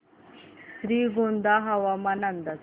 श्रीगोंदा हवामान अंदाज